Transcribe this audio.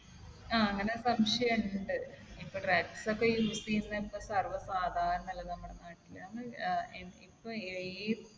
ആഹ് അങ്ങനെ സംശയം ഇണ്ട്. ഇപ്പൊ drugs ഒക്കെ use ചെയ്യുന്നത് ഇപ്പൊ സർവ്വസാധാരണ അല്ലെ നമ്മുടെ നാട്ടിൽ. ഏർ ഇപ്പൊ ഏതൊരു